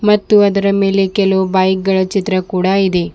ಮತ್ತು ಅದರ ಮೇಲೆ ಕೆಲವು ಬೈಕ್ ಗಳ ಚಿತ್ರ ಕೂಡ ಇದೆ.